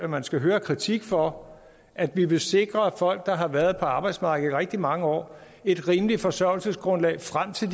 man skal høre kritik for at vi vil sikre folk der har været på arbejdsmarkedet i rigtig mange år et rimeligt forsørgelsesgrundlag frem til